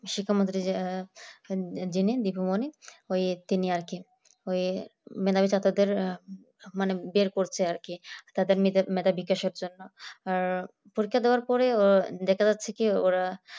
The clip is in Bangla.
শিক্ষামন্ত্রী যে যিনি দীপু মনি ওই তিনি আর কি ওই মেধাবী ছাত্রদের মানে বের করছে আর কি তাদের নিজের মেধাবী কিসের জন্য আর পরীক্ষা দেয়ার পরে ও দেখা যাচ্ছে কি ওরা